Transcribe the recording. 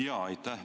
Jaa, aitäh!